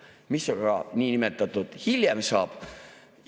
Mis aga niinimetatult hiljem saab?